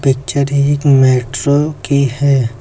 Picture एक metro की है।